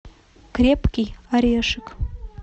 крепкий орешек